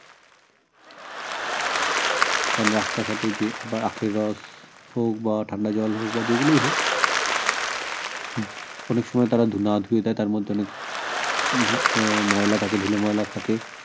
কারন রাস্তাঘাটে বা আখের রস হোক বা ঠান্ডা জল হোক বা যেগুলোই হোক অনেক সময় তারা না ধুয়ে দে তার মধ্যে অনেক আহ ময়লা থাকে ধুলোময়লা থাকে